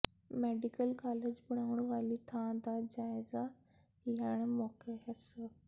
medical college ਬਣਾਉਣ ਵਾਲੀ ਥਾਂ ਦਾ ਜਾਇਜ਼ਾ ਲੈਣ ਮੌਕੇ ਸ